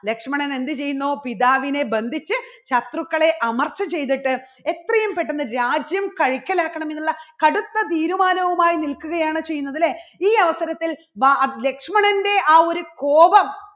ലക്ഷ്മണൻ എന്ത് ചെയ്യുന്നു പിതാവിനെ ബന്ധിച്ച് ശത്രുക്കളെ അമർച്ച ചെയ്തിട്ട് എത്രയും പെട്ടെന്ന് രാജ്യം കൈക്കൽ ആക്കണം എന്നുള്ള കടുത്ത തീരുമാനവുമായി നിൽക്കുകയാണ് ചെയ്യുന്നത്. അല്ലേ? ഈ അവസരത്തിൽ വാ ലക്ഷ്മണന്റെ ആ ഒരു കോപം